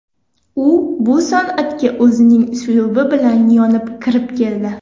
U bu san’atga o‘zining uslubi bilan, yonib kirib keldi.